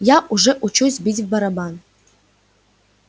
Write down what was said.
я уже учусь бить в барабан